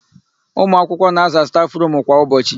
Ụmụakwụkwọ na-aza stafụrumu kwa ụbọchị.